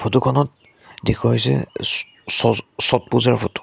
ফটোখনত দেখুওৱা হৈছে চ-চট-চট পূজাৰ ফটো ।